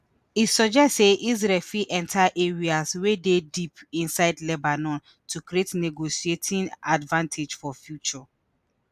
e suggest say israel fit enta areas wey dey deep inside lebanon to create negotiating advantage for future